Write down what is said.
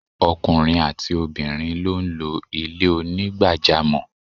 Okùnrin àti obìrin lo n lo Ilé onígbàjámò